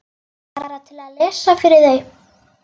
Bara til að lesa fyrir þau.